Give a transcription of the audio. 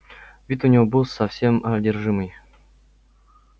вид у него был совсем одержимый